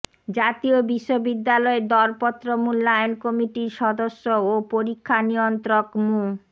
জাতীয় বিশ্ববিদ্যালয়ের দরপত্র মূল্যায়ন কমিটির সদস্য ও পরীক্ষা নিয়ন্ত্রক মো